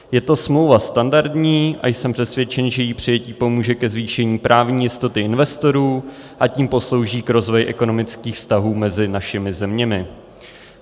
Je to smlouva standardní a jsem přesvědčen, že její přijetí pomůže ke zvýšení právní jistoty investorů, a tím poslouží k rozvoji ekonomických vztahů mezi našimi zeměmi.